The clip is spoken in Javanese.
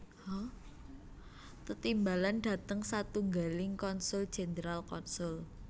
Tetimbalan dhateng satunggaling konsul jenderal konsul